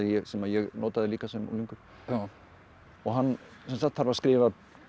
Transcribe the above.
sem ég notaði líka sem unglingur hann þarf að skrifa